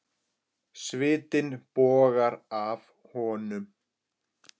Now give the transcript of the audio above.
Svitinn bogar af honum.